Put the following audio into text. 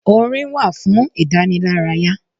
Orin wá fún ìdànílárayà.